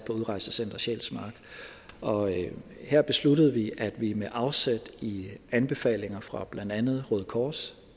på udrejsecenter sjælsmark og her besluttede vi at vi med afsæt i anbefalinger fra blandt andet røde kors